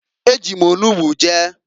E ji m onugbo je.